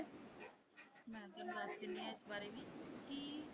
ਮੈਂ ਤੁਹਾਨੂੰ ਦੱਸ ਦਿੰਦੀ ਹਾਂ ਇਸ ਬਾਰੇ ਵੀ ਕਿ।